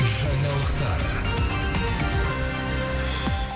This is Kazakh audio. жаңалықтар